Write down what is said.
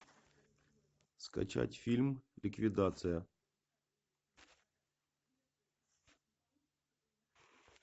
скачать фильм ликвидация